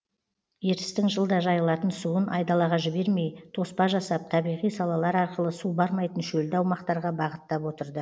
ертістің жылда жайылатын суын айдалаға жібермей тоспа жасап табиғи салалар арқылы су бармайтын шөлді аумақтарға бағыттап отырды